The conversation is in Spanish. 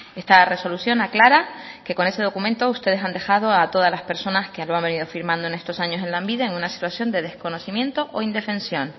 esta resolución aclara que con ese documento ustedes han dejado a todas las personas que lo han venido firmando en estos años en lanbide en una situación de desconocimiento o indefensión